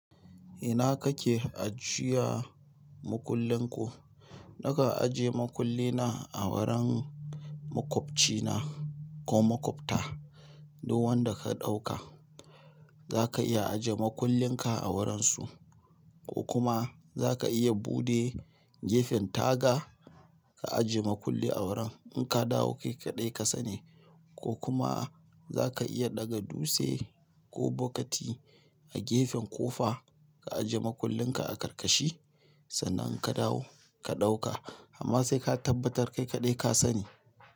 Ina kake ajiya makullin ku? Nakan ajiye makulli na a wurin makwabcina ko makwabta. Duk wanda ka ɗauka zaka iya ajiye makullinka a wurinsu ko kuma zaka iya buɗe gefen taga ka ajiye makulli a wurin in ka dawo kai kaɗai ka sani ko kuma zaka iya ɗaga dutse ko bokiti a gefen kofa ka ajiye makullin ka a karkashi sannan ka dawo ka ɗauka amma sai ka tabbatar kai kaɗai ka sani.